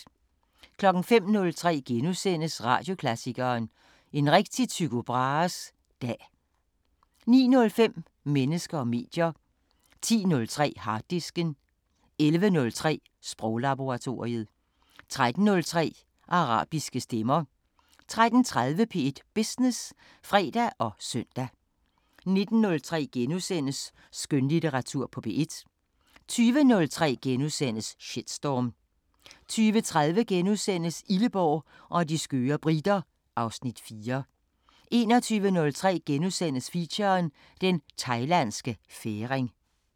05:03: Radioklassikeren: En rigtig Tycho Brahes Dag * 09:05: Mennesker og medier 10:03: Harddisken 11:03: Sproglaboratoriet 13:03: Arabiske Stemmer 13:30: P1 Business (fre og søn) 19:03: Skønlitteratur på P1 * 20:03: Shitstorm * 20:30: Illeborg og de skøre briter (Afs. 4)* 21:03: Feature: Den Thailandske Færing *